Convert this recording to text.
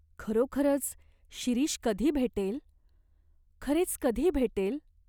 खरोखरच शिरीष कधी भेटेल ? खरेच कधी भेटेल ?